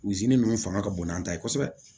ninnu fanga ka bon n'an ta ye kosɛbɛ